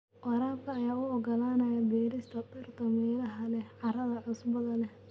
Waraabka ayaa u oggolaanaya beerista dhirta meelaha leh carrada cusbada leh.